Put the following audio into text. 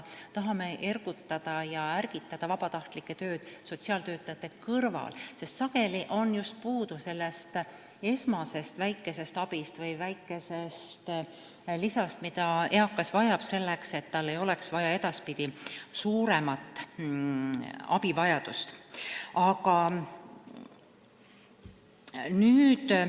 Tahame ergutada ja ärgitada vabatahtlike tööd sotsiaaltöötajate kõrval, sest sageli on just puudu sellest esmasest väikesest abist või lisast, mida eakas vajab selleks, et tal ei oleks edaspidi suuremat abivajadust.